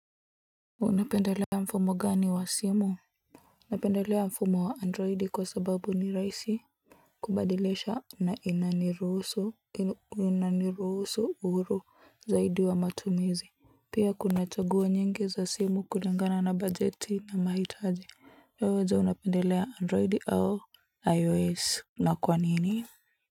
Unapendelea mfumo gani wa simu? Napendelea mfumo wa android kwa sababu ni rahisi kubadilisha na inaniruhusu uhuru zaidi wa matumizi pia kuna chaguo nyingi za simu kulingana na budget na mahitaji hio uwezo unapendelea android au ios na kwa nini?